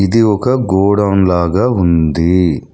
ఇది ఒక గోడౌన్ లాగా ఉంది.